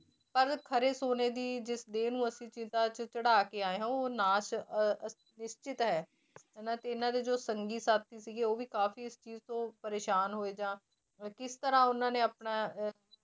ਪਰ ਖਰੇ ਸੋਨੇ ਦੀ ਜਿਸ ਦੇਹ ਨੂੰ ਅਸੀਂ ਚਿੱਤਾ 'ਚ ਚੜ੍ਹਾ ਕੇ ਆਏ ਹਾਂ ਉਹ ਨਾਸ਼ ਅਹ ਅਹ ਨਿਸ਼ਚਿਤ ਹੈ ਹਨਾ ਤੇ ਇਹਨਾਂ ਦੇ ਜੋ ਸੰਗੀ ਸਾਥੀ ਸੀਗੇ ਉਹ ਵੀ ਕਾਫ਼ੀ ਇਸ ਚੀਜ਼ ਤੋਂ ਪਰੇਸਾਨ ਹੋਏ ਜਾਂ ਅਹ ਕਿਸ ਤਰ੍ਹਾਂ ਉਹਨਾਂ ਨੇ ਆਪਣਾ ਅਹ